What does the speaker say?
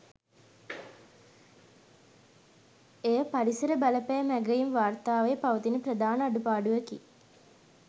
එය පරිසර බලපෑම් ඇගැයීම් වාර්තාවේ පවතින ප්‍රධාන අඩුපාඩුවකි